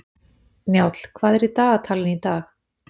Njáll, hvað er í dagatalinu í dag?